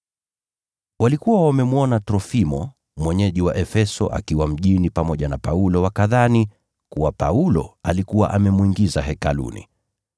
(Walikuwa wamemwona Trofimo, mwenyeji wa Efeso, akiwa mjini pamoja na Paulo wakadhani kuwa Paulo alikuwa amemwingiza Hekaluni.)